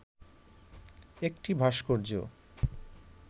একটি ভাস্কর্য